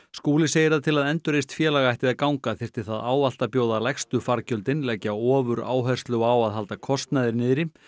Skúli segir að til að endurreist félag ætti að ganga þyrfti það ávallt að bjóða lægstu fargjöldin leggja ofuráherslu á að halda kostnaði niðri